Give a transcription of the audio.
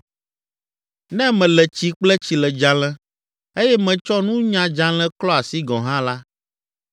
Ne mele tsi kple tsiledzalẽ eye metsɔ nunyadzalẽ klɔ asi gɔ̃ hã la,